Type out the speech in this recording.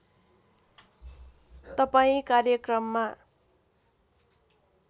तपाईँ कार्यक्रममा